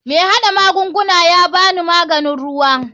MAi hada magungunan yabani mahganin ruwa.